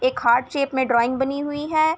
एक heart shape में drawing बनी हुई है।